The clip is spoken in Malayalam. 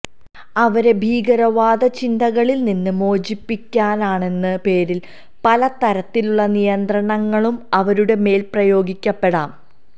അവരെ ഭീകരവാദ ചിന്തകളില്നിന്ന് മോചിപ്പിക്കാനാണെന്ന പേരില് പല തരത്തിലുള്ള നിയന്ത്രണങ്ങളും അവരുടെ മേല് പ്രയോഗിക്കപ്പെടാം